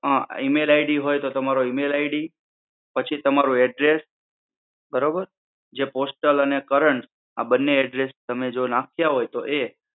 અમ email id હોય તો email id. પછી, તમારું address. બરોબર? જે postal અને current આ બંને address તમે જો નાખ્યા હોય તો એ